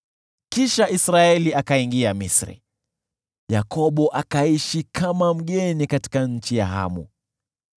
Kisha Israeli akaingia Misri, Yakobo akaishi kama mgeni katika nchi ya Hamu.